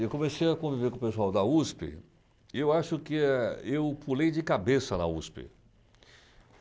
Eu comecei a conviver com o pessoal da USP, eu acho que, eh, eu pulei de cabeça na USP.